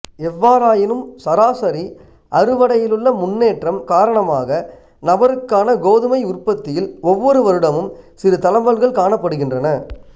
எவ்வாறாயினும் சராசரி அறுவடையிலுள்ள முன்னேற்றம் காரணமாக நபருக்கான கோதுமை உற்பத்தியில் ஒவ்வொரு வருடமும் சிறு தளம்பல்கள் காணப்படுகின்றன